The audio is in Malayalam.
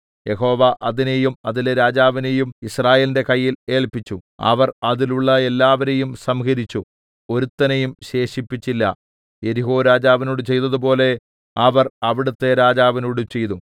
യഹോവ അതിനെയും അതിലെ രാജാവിനെയും യിസ്രായേലിന്റെ കയ്യിൽ ഏല്പിച്ചു അവർ അതിലുള്ള എല്ലാവരെയും സംഹരിച്ചു ഒരുത്തനെയും ശേഷിപ്പിച്ചില്ല യെരിഹോരാജാവിനോട് ചെയ്തതുപോലെ അവർ അവിടത്തെ രാജാവിനോടും ചെയ്തു